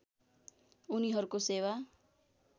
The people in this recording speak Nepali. उनीहरूको सेवा